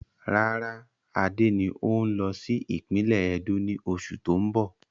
Rárá, Adé ni o n lọ sí ìpínlẹ́ Ẹdó ni oṣù tóun bọ̀.